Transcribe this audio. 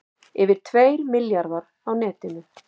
Yfir tveir milljarðar á netinu